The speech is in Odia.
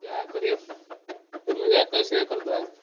ଯାହା କରିଆ,